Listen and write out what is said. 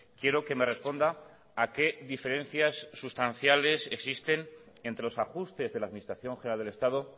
quiero que me responda a qué diferencias sustanciales existen entre los ajustes de la administración general del estado